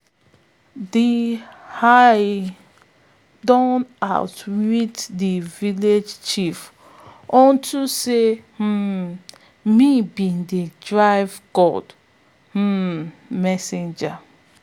de hare don outwit de village chief unto sey um im be de river god um messenger